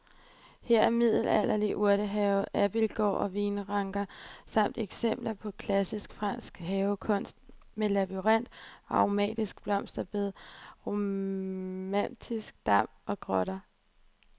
Her er middelalderlig urtehave, abildgård og vinranker samt eksempler på klassisk fransk havekunst med labyrint, aromatiske blomsterbede, romantisk dam og grotte.